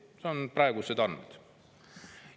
Need on praegused andmed.